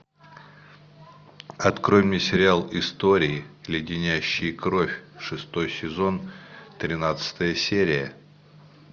открой мне сериал истории леденящие кровь шестой сезон тринадцатая серия